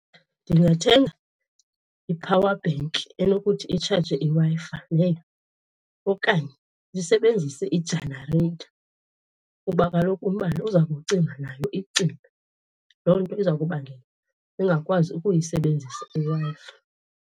Ndingathenga i-power bank enokuthi itshaje iWi-Fi leyo okanye ndisebenzise ijanareyitha kuba kaloku umbane uza kucima, nayo icime. Loo nto iza kubangela ungakwazi ukuyisebenzisa iWi-Fi.